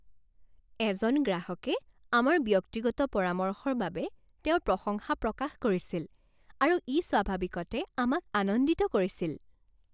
এজন গ্ৰাহকে আমাৰ ব্যক্তিগত পৰামৰ্শৰ বাবে তেওঁৰ প্ৰশংসা প্ৰকাশ কৰিছিল আৰু ই স্বাভাৱিকতে আমাক আনন্দিত কৰিছিল।